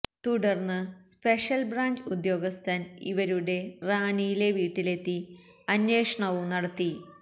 തുടര്ന്ന് special branch ഉദ്യോഗസ്ഥര് ഇവരുടെ റാന്നിയിലെ വീട്ടിലെത്തി അന്വേഷണവും നടത്തി